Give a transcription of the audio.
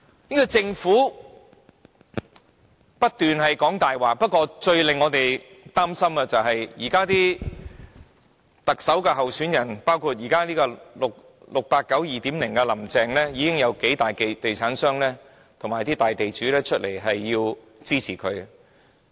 這個政府不斷說謊，不過，最令我們擔心的是，現在的特首候選人，包括 "689" 的 "2.0" 版本林鄭月娥，已經有數大地產商和大地主公開支持。